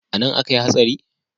Anan akai hatsari?